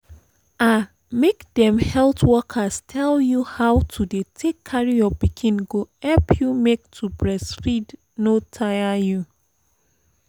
ah make dem health workers tell you how to dey take carry your pikin go help you make to breastfeed no tire you